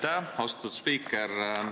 Aitäh, austatud spiiker!